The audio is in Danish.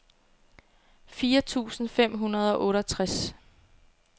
fire tusind fem hundrede og otteogtres